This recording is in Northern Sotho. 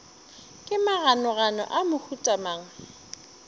ke maganogano a mohuta mang